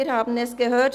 Wir haben es gehört: